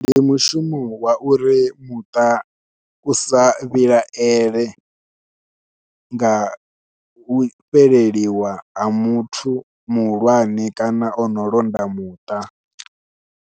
Ndi mushumo wa uri muṱa u sa vhilaele nga u fheleliwa ha muthu muhulwane kana ono londa muṱa.